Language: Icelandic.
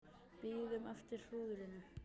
Bíðum eftir hrúðrinu